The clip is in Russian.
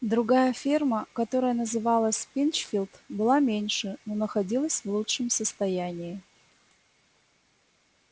другая ферма которая называлась пинчфилд была меньше но находилась в лучшем состоянии